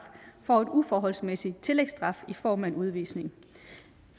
får en uforholdsmæssig tillægsstraf i form af en udvisning